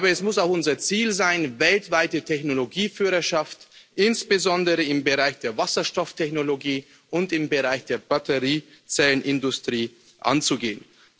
Ich glaube, es muss auch unser Ziel sein, weltweite Technologieführerschaft insbesondere im Bereich der Wasserstofftechnologie und im Bereich der Batteriezellenindustrie anzugehen.